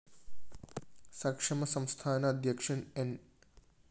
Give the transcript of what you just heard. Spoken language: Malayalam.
സക്ഷമ സംസ്ഥാന അധ്യക്ഷന്‍ ന്‌